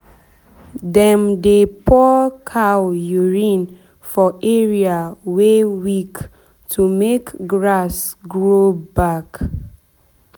dem dey pour cow urine for area wey weak to make grass grow back.